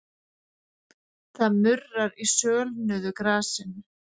Það murrar í sölnuðu grasinu.